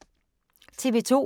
TV 2